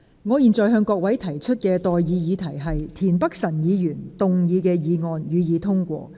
我現在向各位提出的待議議題是：田北辰議員動議的議案，予以通過。